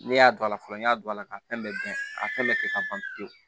Ne y'a dɔn a la fɔlɔ n y'a don a la ka fɛn bɛɛ dɔn a fɛn bɛɛ kɛ ka ban pewu